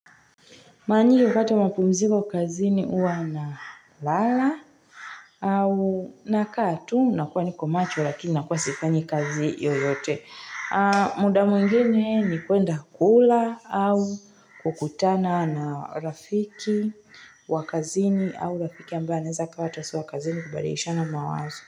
Mara nyingi kupata mapumziko kazini huwa na lala au nakaa tu nakuwa nikomacho lakini nakuwa sifanyi kazi yoyote muda mwingine ni kuenda kula au kukutana na rafiki wakazini au rafiki ambaye anaezakuwa hata si wakazini kubadilishana mawazo.